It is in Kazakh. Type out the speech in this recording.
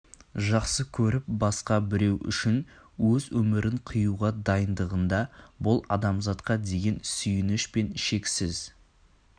жақсы көріп басқа біреу үшін өз өмірін қиуға дайындығында бұл адамзатқа деген сүйініш пен шексіз